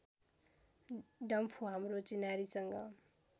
डम्फु हाम्रो चिनारीसँग